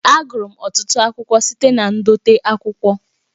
Agụrụ m ọtụtụ akwụkwọ site na ndote akwụkwọ